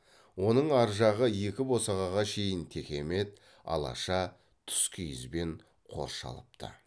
оның ар жағы екі босағаға шейін текемет алаша тұскиізбен қоршалыпты